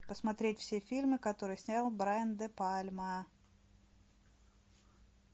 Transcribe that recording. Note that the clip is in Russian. посмотреть все фильмы которые снял брайан де пальма